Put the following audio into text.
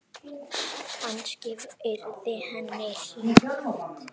Kannski yrði henni hlíft.